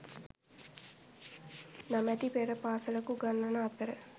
නමැති පෙර පාසලක උගන්වන අතර